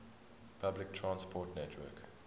public transport network